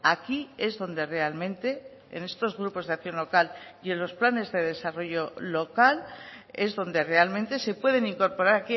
aquí es donde realmente en estos grupos de acción local y en los planes de desarrollo local es donde realmente se pueden incorporar